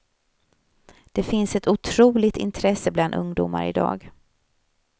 Det finns ett otroligt intresse bland ungdomar i dag.